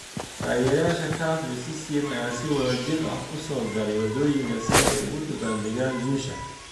Taageerayaasha CUF iyo CCM ayaa si wada jir ah u soo galay waddooyinka si ay ugu dabaaldegaan guusha.